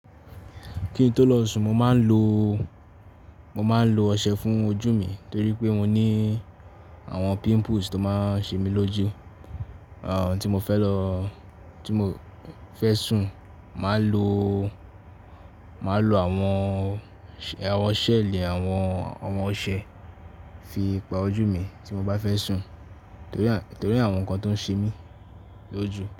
Kí n tó lọ sùn, mo máa ń lo, mo máa ń lo ọṣẹ fún ojú mi torí pé mo ní àwọn pimples tó máa ń ṣe mi lójú. Àwọn tí mo fẹ́ lọ, tí mo fẹ́ sùn, màá lo, màá lo àwọn, àwọn ṣẹ́ẹ̀lẹ̀ àwọn, àwọn ọṣẹ fi pa ojú mi tí mo bá fẹ́ sùn torí, torí àwọn nǹkan tó ń ṣe mí lójú.